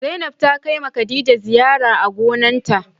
Zainab ta Kai ma Khadija ziyara a gonan ta.